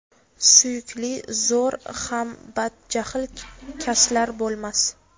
Suyukli, zo‘r, ham badjahl kaslar bo‘lmas.